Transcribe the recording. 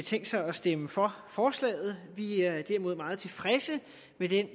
tænkt sig at stemme for forslaget vi er derimod meget tilfredse med den